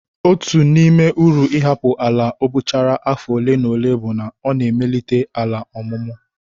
Otu n'ime uru ịhapụ ala abọchara afọ ole na ole bụ na ọ na-emelite ala ọmụmụ.